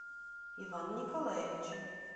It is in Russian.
ивана николаевича